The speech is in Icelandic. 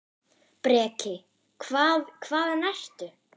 Breki: Hvað, hvaðan ertu?